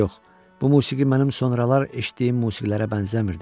Yox, bu musiqi mənim sonralar eşitdiyim musiqilərə bənzəmirdi.